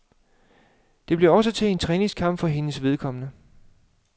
Det blev også til en træningskamp for hendes vedkommende.